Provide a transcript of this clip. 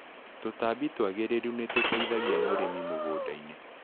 Tũtambi twagĩrĩru nĩtũteithagia mũrĩmi mũgundainĩ.